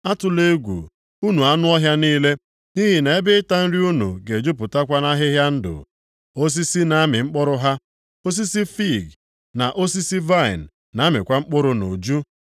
Atụla egwu, unu anụ ọhịa niile, nʼihi na ebe ịta nri unu ga-ejupụtakwa nʼahịhịa ndụ. Osisi na-amị mkpụrụ ha, osisi fiig, na osisi vaịnị na-amịkwa mkpụrụ nʼuju.